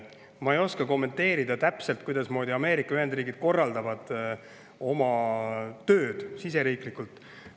Ma ei oska täpselt kommenteerida, kuidasmoodi Ameerika Ühendriigid korraldavad oma tööd siseriiklikult.